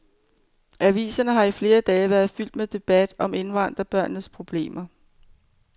Aviserne har i flere dage været fyldt med debat om indvandrerbørnenes problemer.